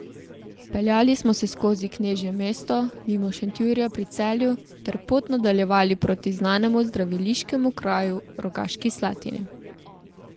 Peljali smo se skozi Knežje mesto, mimo Šentjurja pri Celju ter pot nadaljevali proti znanemu zdraviliškemu kraju, Rogaški Slatini.